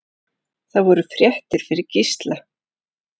Það voru fréttir fyrir Gísla.